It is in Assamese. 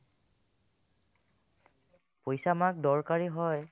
পইচা আমাক দৰকাৰী হয়